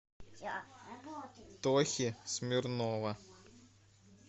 тохи смирнова